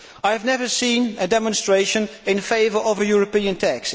I have never seen a demonstration in favour of a European tax.